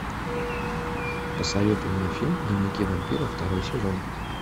посоветуй мне фильм дневники вампира второй сезон